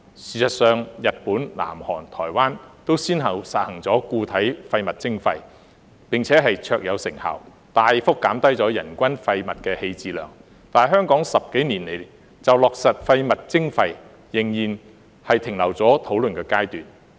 事實上，日本、南韓、台灣都先後實行了固體廢物徵費，並且卓有成效，大幅減低了人均廢物棄置量，但香港十多年來就落實廢物徵費，仍然停留在討論階段。